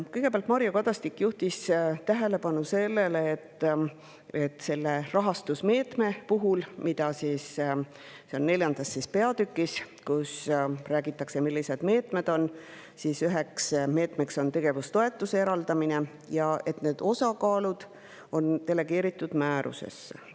Kõigepealt juhtis Mario Kadastik tähelepanu sellele, et selle rahastusmeetme puhul – see on 4. peatükis, kus räägitakse, millised meetmed on, üks meede on tegevustoetuse eraldamine – on osakaalud delegeeritud määrusesse.